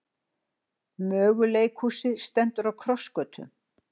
Möguleikhúsið stendur á krossgötum